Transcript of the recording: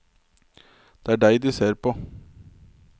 Det er deg de ser på.